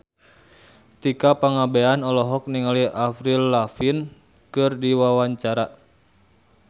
Tika Pangabean olohok ningali Avril Lavigne keur diwawancara